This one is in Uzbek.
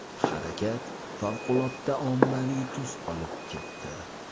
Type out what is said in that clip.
Harakat favqulodda ommaviy tus olib ketdi.